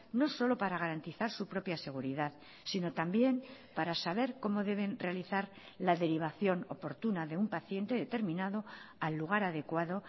no solo para garantizar su propia seguridad sino también para saber cómo deben realizar la derivación oportuna de un paciente determinado al lugar adecuado